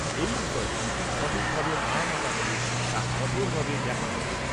এই বিষয়টি সঠিকভাবে মানা না হলে তা কঠোরভাবে দেখা হবে